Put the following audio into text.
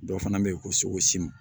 Dɔ fana bɛ yen ko sogosi